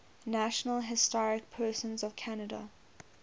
national historic persons of canada